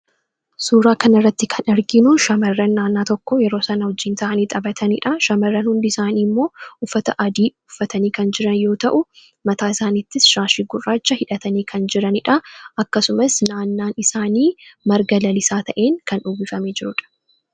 Suuraa kana irratti kan arginu, shamarran naannoo tokkoo yeroo isaan waliin taa'anii taphatanii fi shamarran hundi isaanii uffata adii uffatanii kan jiran yoo ta'u, mataa isaaniitis shaashii gurraacha hidhatanii kan jiranidha ,akkasumas naannoon isaanii marga lalisaan kan uwwifameedha.